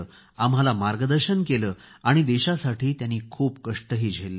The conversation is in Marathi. आम्हाला मार्गदर्शन केले आणि देशासाठी त्यांनी खूप कष्ट झेलले